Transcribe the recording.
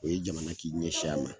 O ye jamana k'i ɲɛsin a ma